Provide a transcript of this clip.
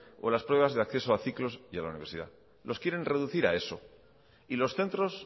o las pruebas de acceso a ciclos y a la universidad los quieren reducir a eso y los centros